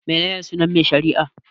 Mene ne sunan mai shari'ar?